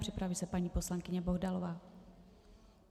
Připraví se paní poslankyně Bohdalová.